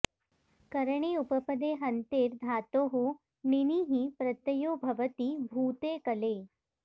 करणि उपपदे हन्तेर् धातोः णिनिः प्रत्ययो भवति भूते कले